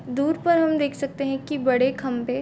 दूर पर हम देख सकते है की बड़े खम्भे--